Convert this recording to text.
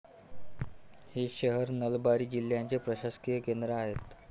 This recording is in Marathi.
हे शहर नलबारी जिल्ह्याचे प्रशासकीय केंद्र आहे.